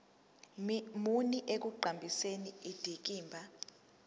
muni ekuqhakambiseni indikimba